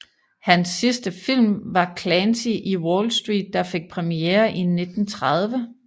Hans sidste film var Clancy in Wallstreet der fik premiere i 1930